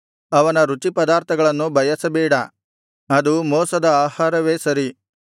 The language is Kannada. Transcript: ಅವನ ರುಚಿಪದಾರ್ಥಗಳನ್ನು ಬಯಸಬೇಡ ಅದು ಮೋಸದ ಆಹಾರವೇ ಸರಿ